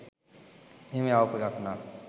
එහෙම යවපු එකක් නම්